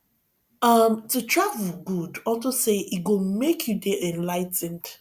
um to travel good unto say e go make you dey enligh ten ed